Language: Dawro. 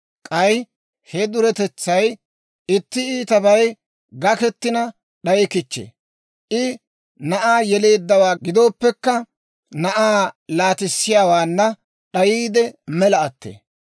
K'ay he duretetsay itti iitabay gakketina d'ayi kichchee. I na'aa yeleeddawaa gidooppekka, na'aa laatissiyaawaana d'ayiide, mela attee.